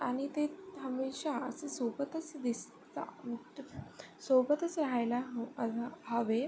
आणि ते हमेशा अस ते सोबतच दिसता सोबतच राहायला हवे.